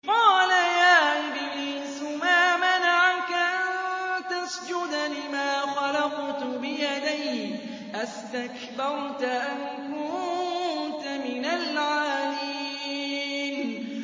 قَالَ يَا إِبْلِيسُ مَا مَنَعَكَ أَن تَسْجُدَ لِمَا خَلَقْتُ بِيَدَيَّ ۖ أَسْتَكْبَرْتَ أَمْ كُنتَ مِنَ الْعَالِينَ